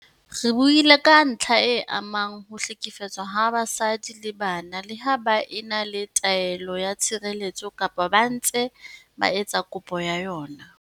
Re buile ka ntlha e amang ho hlekefetswa ha basadi le bana leha ba e na le taelo ya tshireletso kapa ba ntse ba etsa kopo ya yona.